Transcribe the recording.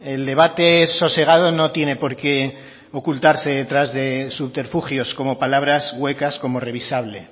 el debate sosegado no tiene por qué ocultarse detrás de subterfugios como palabras huecas como revisable